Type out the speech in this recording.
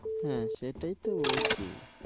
হ্যাঁ, সেটাই তো বলছি